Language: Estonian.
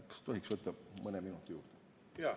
Kas tohiks võtta mõne minuti juurde?